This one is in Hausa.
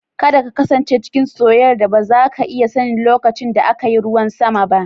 Kada ka kasance cikin soyayyar da ba za ka iya sanin lokacin da aka yi ruwan sama ba